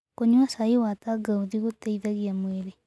Kũnyua cai wa tangaũthĩ gũteĩthagĩa mwĩrĩ